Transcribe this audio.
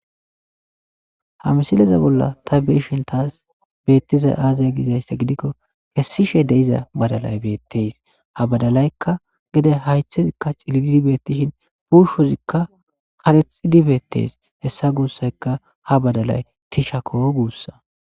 Ha misileza bolla ta beyishn tas betizay aze gizaysa gidikon kesishe de'iza badaly betes, ha badalayaka gede haytheyka cilil betishn uushozika karexid betes, hesa guusay ha badalay tishako guusa .